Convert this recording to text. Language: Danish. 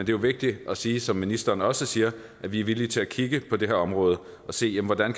jo vigtigt at sige som ministeren også siger at vi er villige til at kigge på det her område og se hvordan